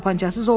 Tapançasız olmaz.